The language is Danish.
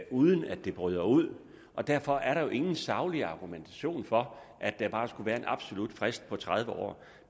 uden at det bryder ud og derfor er der jo ingen saglig argumentation for at der bare skal være en absolut frist på tredive år